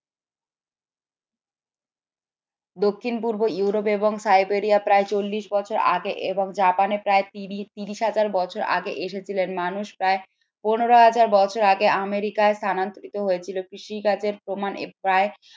দক্ষিণ-পূর্ব ইউরোপ এবং সাইবেরিয়া প্রায় চল্লিশ বছর আগে এবং জাপানে প্রায় তিরিশ তিরিশ হাজার বছর আগে এসেছিলেন মানুষ প্রায় পনেরো হাজার বছর আগে আমেরিকায় স্থানান্তরিত হয়েছিল কৃষি কাজের প্রমাণ প্রায়